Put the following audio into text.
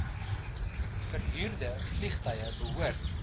verhuurde vliegtuie behoort